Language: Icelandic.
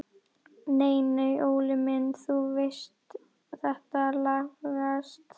Nei nei Óli minn, þú veist þetta lagast.